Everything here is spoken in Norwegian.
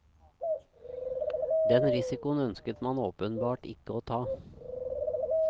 Den risikoen ønsket man åpenbart ikke å ta.